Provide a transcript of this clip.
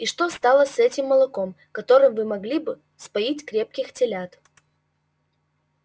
и что стало с этим молоком которым вы могли бы вспоить крепких телят